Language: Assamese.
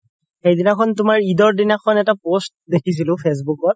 সেইদিনাখন তুমাৰ ইদৰ দিনাখন তুমাৰ এটা post দেখিছিলো ফেছবূকত